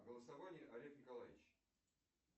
голосование олег николаевич